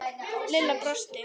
Lilla brosti.